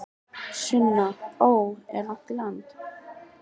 Sunna: Ó, er langt í land?